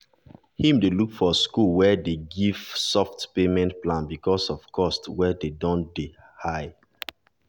she dey sometimesno dey buy something for herself just to make sure her children um stay for school.